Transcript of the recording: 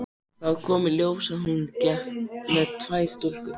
Þá kom í ljós að hún gekk með tvær stúlkur.